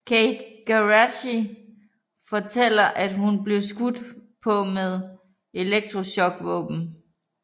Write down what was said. Kate Geraghty fortæller at hun blev skudt på med elektrochokvåben